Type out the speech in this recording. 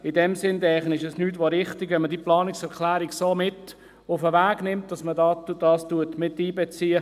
In diesem Sinn wäre es nichts als richtig, dass man diese Planungserklärung so mit auf den Weg nimmt, dass man dies miteinbezieht.